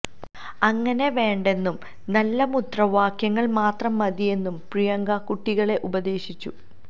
അങ്ങനെ വേണ്ടെന്നും നല്ല മുദ്രാവാക്യങ്ങള് മാത്രം മതിയെന്നും പ്രിയങ്ക കുട്ടികളെ ഉപദേശിച്ചു